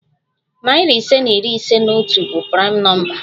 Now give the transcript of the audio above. Narị ise na iri ise na otu bụ praịm nọmba.